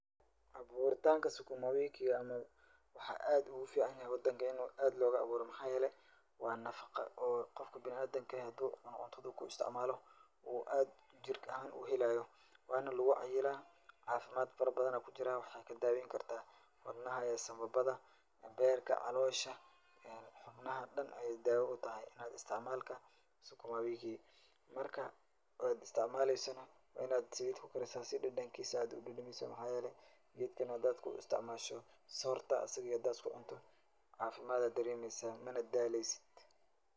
Abuuritaanka sukumawiikiga waxuu aad ugu ficaan yahay wadanka in uu aad looga abuuro. Maxaa yeelay waa nafaqa oo qofka bina'aadinka haduu cuno cuntada ku istacmaalo uu aad jir ahaan uu helaayo. Waana lugu cayilaa caafimaad farabadan ayaa ku jiraa. Waxay kaa daaweyn kartaa wadnaha iyo sambabada, beerka, caloosha, xubnaha dhan ayaay daawa u tahay istacmaalka sukumawiiki. Marka oo aad istacmaalaysana waa in aad saliit ku karisa si dhadhankiisa aad u dhadhamiso. Maxaa yeelay geedka hadaad ku istacmaasho soorta asiga iyo hadaad usku cunto caafimaad ayaa dareemaysaa mana daalaysid.